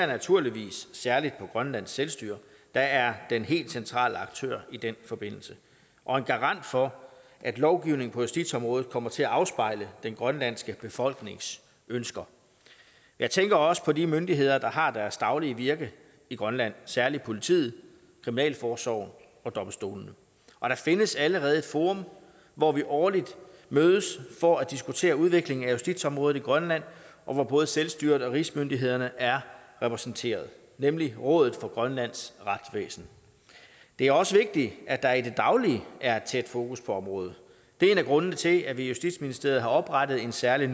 naturligvis særlig på grønlands selvstyre der er den helt centrale aktør i den forbindelse og en garant for at lovgivningen på justitsområdet kommer til at afspejle den grønlandske befolknings ønsker jeg tænker også på de myndigheder der har deres daglige virke i grønland særlig politiet kriminalforsorgen og domstolene og der findes allerede et forum hvor vi årligt mødes for at diskutere udviklingen af justitsområdet i grønland og hvor både selvstyret og rigsmyndighederne er repræsenteret nemlig rådet for grønlands retsvæsen det er også vigtigt at der i det daglige er et tæt fokus på området det er en af grundene til at vi i justitsministeriet har oprettet en særlig